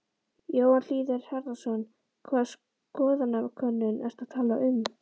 Jóhann Hlíðar Harðarson: Hvaða skoðanakönnun ertu að tala um?